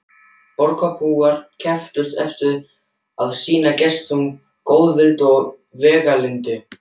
Borgarbúar kepptust eftir að sýna gestum góðvild og veglyndi.